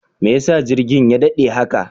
Mai yasa jirgin ya daɗe haka?